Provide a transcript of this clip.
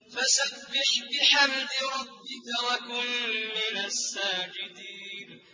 فَسَبِّحْ بِحَمْدِ رَبِّكَ وَكُن مِّنَ السَّاجِدِينَ